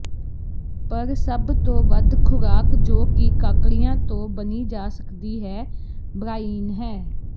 ਪਰ ਸਭ ਤੋਂ ਵੱਧ ਖੁਰਾਕ ਜੋ ਕਿ ਕਾਕੜੀਆਂ ਤੋਂ ਬਣੀ ਜਾ ਸਕਦੀ ਹੈ ਬ੍ਰਾਈਨ ਹੈ